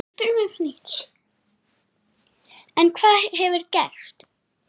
En hvað hefur gerst?